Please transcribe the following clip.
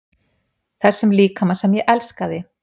Þessum líkama sem ég elskaði.